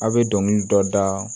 A' be dɔnkili dɔ da